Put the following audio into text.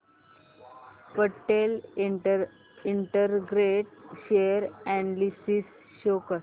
Patel integrate share analysis show कर